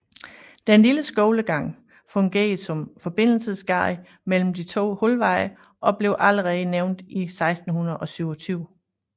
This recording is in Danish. Den lille skolegang fungerer som forbindelsesgade mellem de to Hulveje og blev allerede nævnt i 1627